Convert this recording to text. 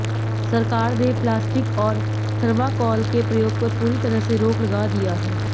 सरकार ने प्लास्टिक और थर्माकोल के प्रयोग पर पूरी तरह से रोक लगा दिया है